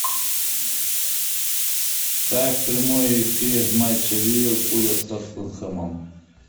ставь прямой эфир матча ливерпуля с тоттенхэмом